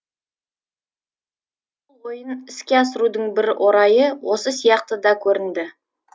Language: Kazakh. ойын іске асырудың бір орайы осы сияқты да көрінді